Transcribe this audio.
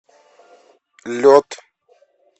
лед